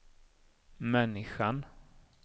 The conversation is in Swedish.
människan